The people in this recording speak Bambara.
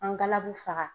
An galabu faga